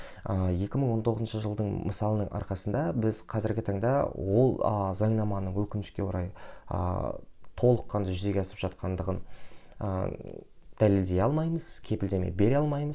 ыыы екі мың он тоғызыншы жылдың мысалының арқасында біз қазіргі таңда ол ы заңнаманы өкінішке орай ааа толыққанды жүзеге асып жатқандығын ыыы дәлелдей алмаймыз кепілдеме бере алмаймыз